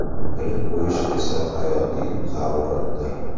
Bilib qo‘yish esa hayotiy zaruratdir.